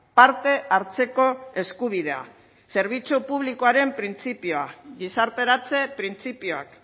parte hartzeko eskubidea zerbitzu publikoaren printzipioa gizarteratze printzipioak